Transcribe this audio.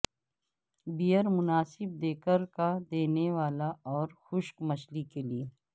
beer مناسب دکرکا دینےوالا اور خشک مچھلی کے لیے